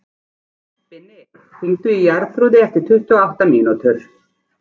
Binni, hringdu í Jarþrúði eftir tuttugu og átta mínútur.